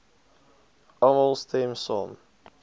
almal stem saam